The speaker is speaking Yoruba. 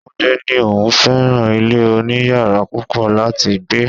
Túndé ní òun fẹ́ràn ilé oniyara púpọ̀ láti gbé.